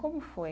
Como foi?